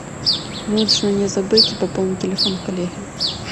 нужно не забыть пополнить телефон коллеги